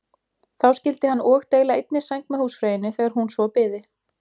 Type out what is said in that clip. Þá skyldi hann og deila einni sæng með húsfreyju þegar hún svo byði.